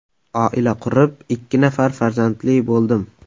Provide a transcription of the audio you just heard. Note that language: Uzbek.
Oila qurib, ikki nafar farzandli bo‘ldim.